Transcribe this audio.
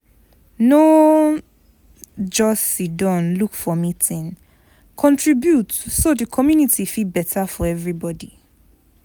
No just siddon look for meeting, contribute so the community fit better for everybody.